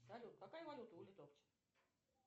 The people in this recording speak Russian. салют какая валюта у литовцев